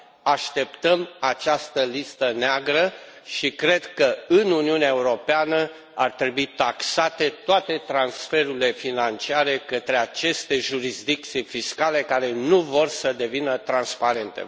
Așteptăm această listă neagră și cred că, în Uniunea Europeană, ar trebui taxate toate transferurile financiare către aceste jurisdicții fiscale care nu vor să devină transparente.